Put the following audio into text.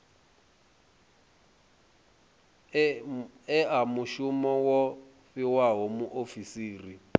ea mushumo wo fhiwaho muofisiri